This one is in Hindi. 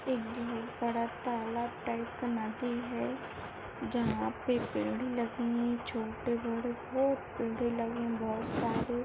एक बड़ा तालाब टाइप नदी है जहा पे पेड़े लगे हुए है छोटे-बड़े बहुत पेड़े लगे बहुत सारे --